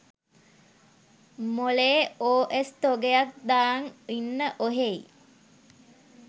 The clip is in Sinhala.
මොලේ ඕ එස් තොගයක් දාං ඉන්න ඔහේයි